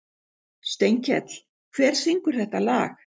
Steinkell, hver syngur þetta lag?